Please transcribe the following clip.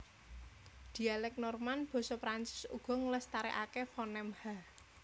Dhialèk Norman basa Prancis uga nglestarèkaké fonem /h/